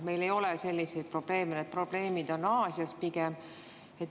Meil ei ole selliseid probleeme, need probleemid on pigem Aasias.